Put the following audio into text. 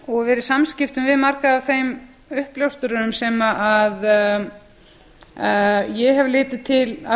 og verið í samskiptum við marga af þeim uppljóstrurum sem ég hef litið til af